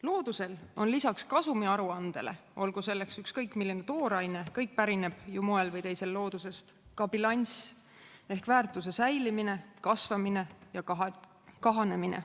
Loodusel on lisaks kasumiaruandele, olgu selleks ükskõik milline tooraine – kõik pärineb ju moel või teisel loodusest – ka bilanss ehk väärtuse säilimine, kasvamine ja kahanemine.